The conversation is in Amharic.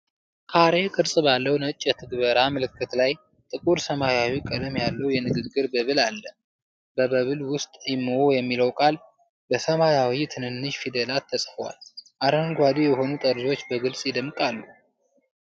ካሬ ቅርጽ ባለው ነጭ የትግበራ ምልክት ላይ፣ ጥቁር ሰማያዊ ቀለም ያለው የንግግር bubble አለ። በ bubble ውስጥ imo የሚለው ቃል በሰማያዊ ትንንሽ ፊደላት ተጽፏል፤ አረንጓዴ የሆኑ ጠርዞች በግልጽ ይደምቃሉ።